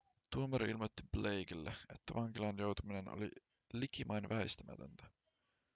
tuomari ilmoitti blakelle että vankilaan joutuminen oli likimain väistämätöntä